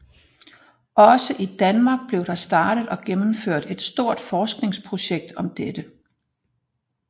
Også i Danmark blev der startet og gennemført et stort forskningsprojekt om dette